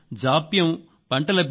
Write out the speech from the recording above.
వీటన్నింటిపై ప్రత్యేక దృష్టి పెట్టాం